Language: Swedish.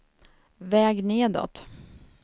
väg nedåt